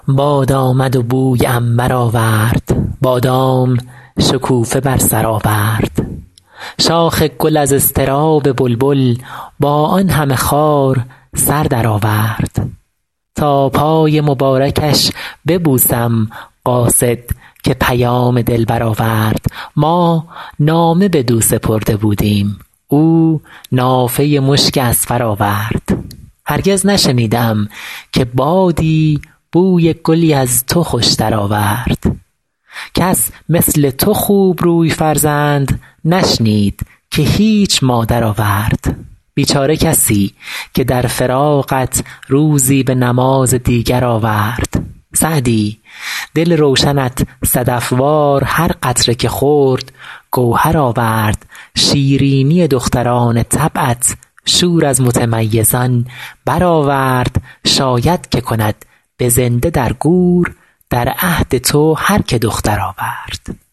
باد آمد و بوی عنبر آورد بادام شکوفه بر سر آورد شاخ گل از اضطراب بلبل با آن همه خار سر درآورد تا پای مبارکش ببوسم قاصد که پیام دلبر آورد ما نامه بدو سپرده بودیم او نافه مشک اذفر آورد هرگز نشنیده ام که بادی بوی گلی از تو خوشتر آورد کس مثل تو خوبروی فرزند نشنید که هیچ مادر آورد بیچاره کسی که در فراقت روزی به نماز دیگر آورد سعدی دل روشنت صدف وار هر قطره که خورد گوهر آورد شیرینی دختران طبعت شور از متمیزان برآورد شاید که کند به زنده در گور در عهد تو هر که دختر آورد